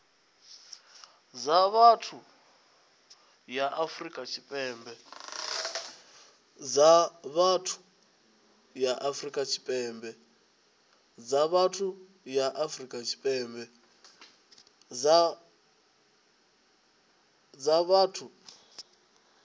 dza vhuthu ya afrika tshipembe